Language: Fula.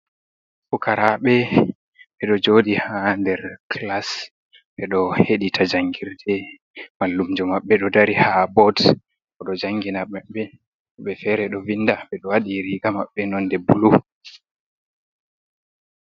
Pukaraɓe: Ɓeɗo joɗi ha nder class ɓeɗo heɗita jangirɗe mallumjo maɓɓe ɗo dari ha bot. Oɗo jangina maɓɓe woɓɓe fere ɗo vinda. Ɓeɗo wadi riga maɓɓe nonde bulu.